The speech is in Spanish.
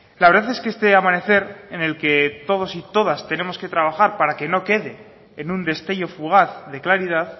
la verdad es que este amanecer en el que todos y todas tenemos que trabajar para que no quede en un destello fugaz de claridad